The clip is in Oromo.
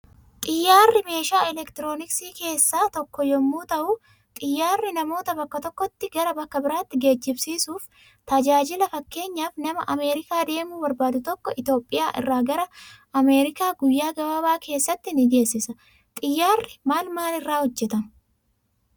Xiyyaarri meeshaa elektirooniksii kessaa tokko yommuuu ta'uu xiyyaarri namoota bakka tokkooti gara bakka biratti geejibsiisuf tajaajila fakkenyaf nama ameerikaa deemu barbaadu tokko iitoophiya irra gara ameerikaa guyya gabaaba keessatti ni geesisa. xiyyari maal maal irra hojjetama?